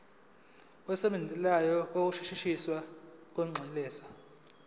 semvume yokushintshisana kwinxusa